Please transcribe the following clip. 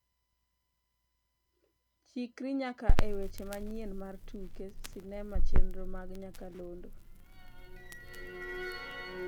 Chikri nyaka e weche manyien mar tuke sinema chenro mag nyakalondo